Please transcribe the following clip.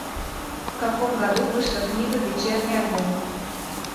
в каком году вышла книга вечерний альбом